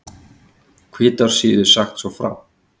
Hvítársíðu sagt svo frá